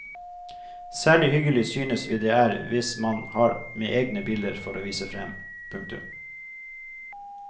Særlig hyggelig synes vi det er hvis man har med egne bilder for å vise fram. punktum